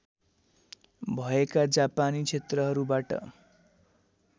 भएका जापानी क्षेत्रहरूबाट